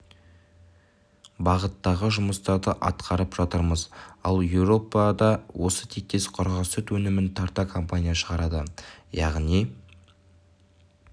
бағыттағы жұмыстарды атқарып жатырмыз ал еуропада осы тектес құрғақ сүт өнімін тарта компания шығарады яғни